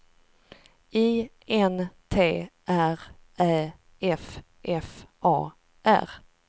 I N T R Ä F F A R